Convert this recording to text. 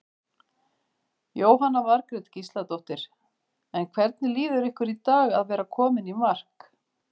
Jóhanna Margrét Gísladóttir: En hvernig líður ykkur í dag að vera komin í mark?